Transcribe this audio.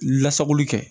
Lasagoli kɛ